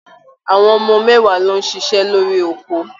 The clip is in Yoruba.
Àwọn ọmọ mẹ́wàá ló ń ṣiṣẹ́ lórí oko.